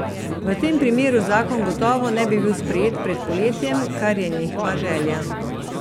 V tem primeru zakon gotovo ne bi bil sprejet pred poletjem, kar je njihova želja.